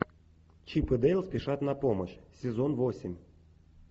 чип и дейл спешат на помощь сезон восемь